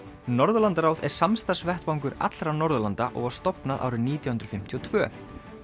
Norðurlandaráð er samstarfsvettvangur allra Norðurlanda og var stofnað árið nítján hundruð fimmtíu og tvö